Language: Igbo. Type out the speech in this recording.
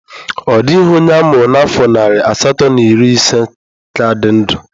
Ọ dịghị onye a mụrụ n'afọ narị asatọ na iri ise ka dị ndụ